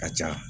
Ka ca